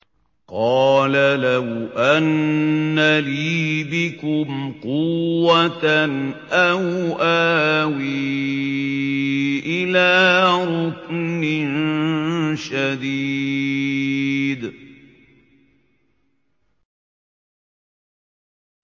قَالَ لَوْ أَنَّ لِي بِكُمْ قُوَّةً أَوْ آوِي إِلَىٰ رُكْنٍ شَدِيدٍ